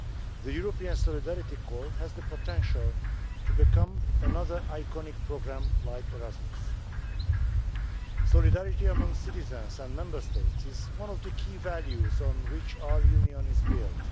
The European Solidarity Corps has the potential to become another iconic programme like Erasmus. Solidarity among citizens and Member States is one of the key values on which our Union is built.